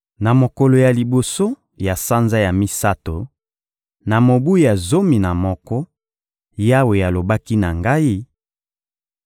Na mokolo ya liboso ya sanza ya misato, na mobu ya zomi na moko, Yawe alobaki na ngai: